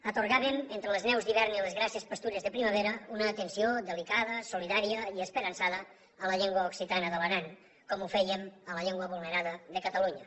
atorgàvem entre les neus d’hivern i les grasses pastures de primavera una atenció delicada solidària i esperançada a la llengua occitana de l’aran com ho fèiem amb la llengua vulnerada de catalunya